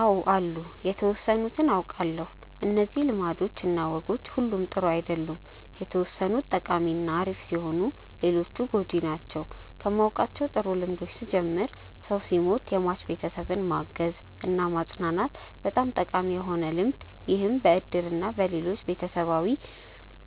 አው አሉ የተወሰኑትን አውቃለው። እነዚህ ልማዶች እና ወጎች ሁሉም ጥሩ አይደሉም የተወሰኑት ጠቃሚ እና አሪፍ ሲሆኑ ሌሎቹ ጎጂ ናቸው። ከማውቃቸው ጥሩ ልምዶች ስጀምር ሰው ሲሞት የሟች ቤተሰብን ማገዝ እና ማፅናናት በጣም ጠቃሚ የሆነ ልምድ ይህም በእድር እና በሌሎችም ቤተሰባዊ